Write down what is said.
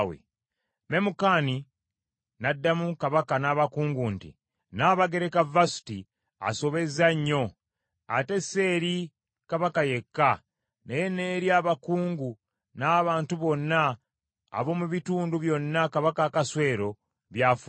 Memukani n’addamu Kabaka n’abakungu nti, “Nnabagereka Vasuti asobezza nnyo, ate si eri Kabaka yekka, naye n’eri abakungu n’abantu bonna ab’omu bitundu byonna Kabaka Akaswero by’afuga.